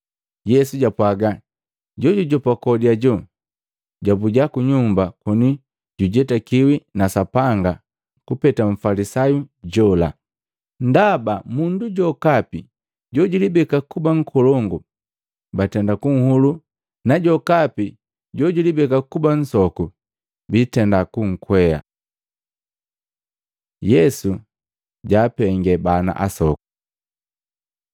Yesu japwagi, jojujopa kodi ajo, jabuja ku nyumba koni jujetakiwi na Sapanga kupeta Mfalisayu jola. Ndaba mundu jokapi jojulibeka kuba nkolongu bantenda kunhulu na jokapi jojulibeka kuba nsoku biitenda kunkwea.” Yesu jaapengee bana asoku Matei 19:13-15; Maluko 10:13-16